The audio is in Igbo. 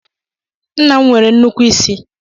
Nna m nwere nnukwu isi.